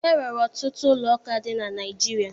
E nwere ọtụtụ ụlọụka dị na Naịjirịa